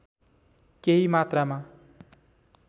केही मात्रामा